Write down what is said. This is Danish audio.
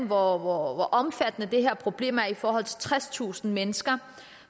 hvor omfattende det her problem er i forhold til tredstusind mennesker